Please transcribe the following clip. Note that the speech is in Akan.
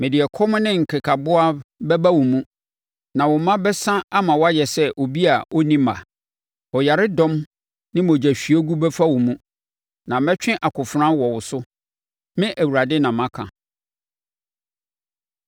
Mede ɛkɔm ne nkekaboa bɛba wo mu, na wo mma bɛsa ama woayɛ sɛ obi a na ɔnni mma. Ɔyaredɔm ne mogyahwiegu bɛfa wo mu, na mɛtwe akofena wɔ wo so. Me Awurade na maka.”